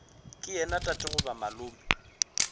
ke yena tate goba malome